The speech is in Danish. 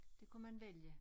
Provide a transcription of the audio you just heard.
Det kunne man vælge